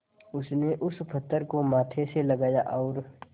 उसने उस पत्थर को माथे से लगाया और